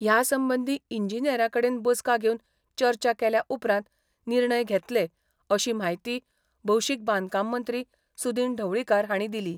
ह्यासंबंधी इंजिनियरांकडेन बसका घेवन चर्चा केल्या उपरांत निर्णय घेतले, अशी म्हायती भौशिक बांधकाममंत्री सुदिन ढवळीकार हांणी दिली.